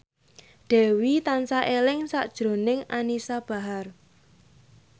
Dewi tansah eling sakjroning Anisa Bahar